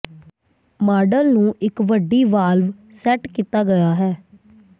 model ਨੂੰ ਇੱਕ ਵੱਡੀ ਵਾਲਵ ਸੈੱਟ ਕੀਤਾ ਗਿਆ ਹੈ